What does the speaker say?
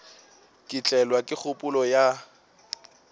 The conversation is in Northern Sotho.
ka tlelwa ke kgopolo ya